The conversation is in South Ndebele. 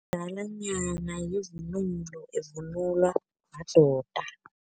Umadalanyana yivunulo evunulwa madoda.